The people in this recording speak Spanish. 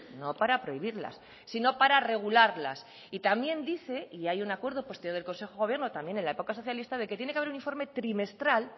no para prohibirlas sino para regularlas y también dice y hay un acuerdo posterior del consejo de gobierno también en la época socialista de que tiene que haber un informe trimestral